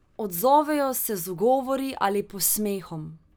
Odzovejo se z ugovori ali posmehom.